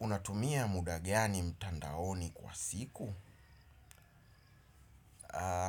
Unatumia muda gani mtandaoni kwa siku?